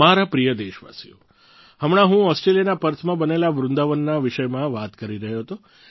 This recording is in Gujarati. મારા પ્રિય દેશવાસીઓ હમણાં હું ઓસ્ટ્રેલિયાના પર્થમાં બનેલા વૃંદાવનના વિષયમાં વાત કરી રહ્યો હતો